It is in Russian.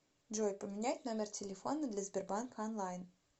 джой поменять номер телефона для сбербанка онлайн